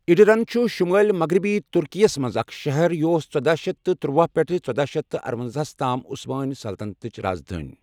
Edirne چھُ شُمٲلؠ مَغرَبی تُرکی یَس مَنٛز اَکھ شَہَر یہِ اوس ژۄداہ شیتھ ترُۄاہ پؠٹھٕ ژۄداہ شیتھ ارۄنزَاہ تام عُثمٲنؠ سَلطَنتٕچ راز دٲنؠ